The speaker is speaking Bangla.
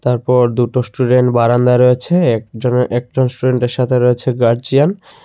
তারপর দুটো স্টুডেন্ট বারান্দায় রয়েছে একজনের একজন স্টুডেন্ট -এর সাথে রয়েছে গার্জিয়ান ।